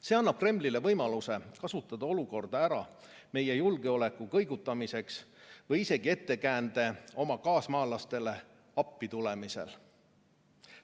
See annab Kremlile võimaluse kasutada olukorda ära meie julgeoleku kõigutamiseks või isegi ettekäände oma kaasmaalastele appi tulemiseks.